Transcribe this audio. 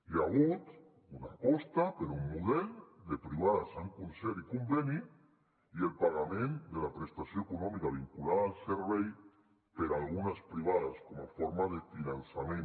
hi ha hagut una aposta per un model de privades amb concert i conveni i el pagament de la prestació econòmica vinculada al servei per a algunes privades com a forma de finançament